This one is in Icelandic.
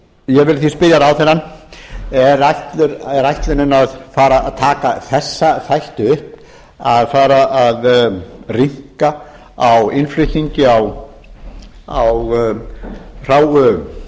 ég vil því spyrja ráðherrann er ætlunin að fara að taka þessa þætti upp að fara að rýmka á innflutningi á hráu